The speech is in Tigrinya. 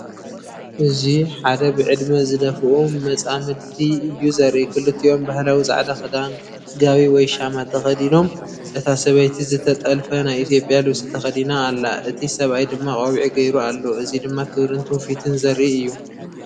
እዚ ሓደ ብዕድመ ዝደፍኡ መጻምድቲ እዩ ዘርኢ። ክልቲኦም ባህላዊ ጻዕዳ ክዳን (ጋቢ ወይ ሻማ) ተኸዲኖም፤ እታ ሰበይቲ ዝተጠልፈ ናይ ኢትዮጵያ ልብሲ ተኸዲና ኣላ። እቲ ሰብኣይ ድማ ቆቢዕ ገይሩ ኣሎ። እዚ ድማ ክብርን ትውፊትን ዘርኢ እዩ ።